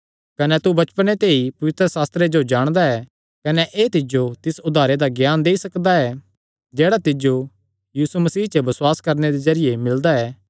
कने तू बचपणे ते ई पवित्रशास्त्रे जो जाणदा ऐ कने एह़ तिज्जो तिस उद्धारे दा ज्ञान देई सकदा ऐ जेह्ड़ा तिज्जो यीशु मसीह च बसुआस करणे दे जरिये मिलदा ऐ